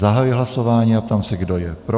Zahajuji hlasování a ptám se, kdo je pro.